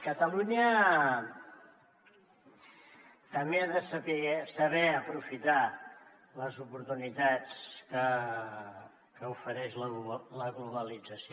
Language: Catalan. catalunya també ha de saber aprofitar les oportunitats que ofereix la globalització